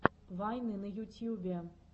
вайны на ютьюбе